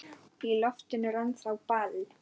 Í loftinu er ennþá ball.